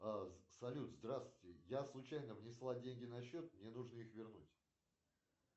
салют здравствуйте я случайно внесла деньги на счет мне нужно их вернуть